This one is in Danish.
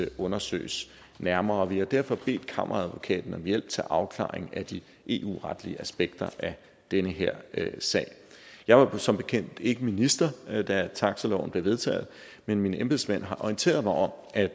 undersøges nærmere vi har derfor bedt kammeradvokaten om hjælp til afklaring af de eu retlige aspekter af den her sag jeg var som bekendt ikke minister da taxiloven blev vedtaget men mine embedsmænd har orienteret mig om at